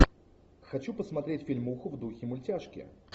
хочу посмотреть фильмуху в духе мультяшки